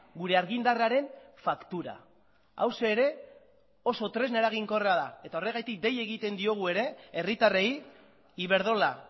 gure argindarraren faktura hauxe ere oso tresna eraginkorra da eta horregatik dei egiten diogu herritarrei iberdrola